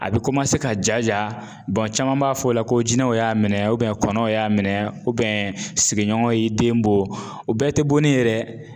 A bɛ ka jaja caman b'a fɔ o la ko jinɛw y'a minɛ kɔnɔw y'a minɛ sigiɲɔgɔn y'i den bon o bɛɛ te bonni ye dɛ.